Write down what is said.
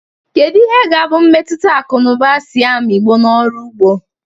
Kedu ihe ga-abụ mmetụta akụ na ụba Siam igbo na ọrụ ugbo?